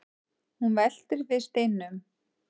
hún veltir við steinum